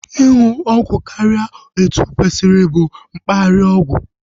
Ịṅụ ọgwụ karịa etu okwesiri bụ mkparịa ọgwụ